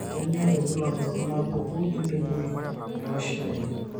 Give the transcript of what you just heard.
Kainyio irbulabul onaapuku entubui eurachal?